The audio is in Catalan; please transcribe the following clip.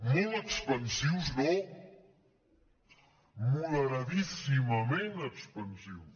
molt expansius no moderadíssimament expansius